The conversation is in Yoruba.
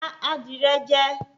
Pa adìrẹ jẹ